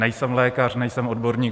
Nejsem lékař, nejsem odborník.